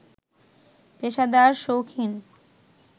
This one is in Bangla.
পেশাদার, শৌখিন